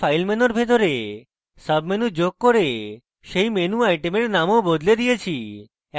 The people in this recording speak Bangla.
এখন file menu ভিতরে সাবmenu যোগ করে সেই menu item নামও বদলে দিয়েছি